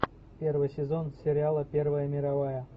первый сезон сериала первая мировая